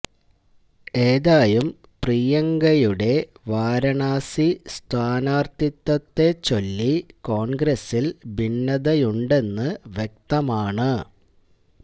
ഏതായും പ്രിയങ്കയുടെ വാരാണസി സ്ഥാനാര്ത്ഥിത്വത്തെ ചൊല്ലി കോണ്ഗ്രസില് ഭിന്നതയുണ്ടെന്നു വ്യക്തമാണ്